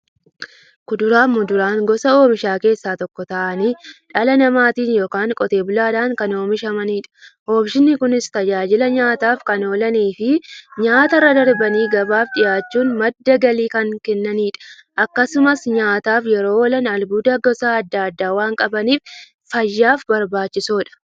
Kuduraafi muduraan gosa oomishaa keessaa tokko ta'anii, dhala namaatin yookiin Qotee bulaadhan kan oomishamaniidha. Oomishni Kunis, tajaajila nyaataf kan oolaniifi nyaatarra darbanii gabaaf dhiyaachuun madda galii kan kennaniidha. Akkasumas nyaataf yeroo oolan, albuuda gosa adda addaa waan qabaniif, fayyaaf barbaachisoodha.